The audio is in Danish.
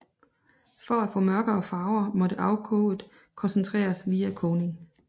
For at få mørkere farver måtte afkoget koncentreres via kogning